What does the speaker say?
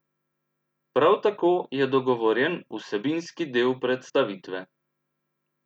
Prav tako je dogovorjen vsebinski del predstavitve.